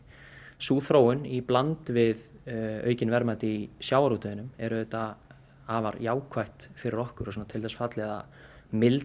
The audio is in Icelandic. sú þróun í bland við aukin verðmæti í sjávarútvegi er auðvitað afar jákvætt fyrir okkur og til þess fallið að milda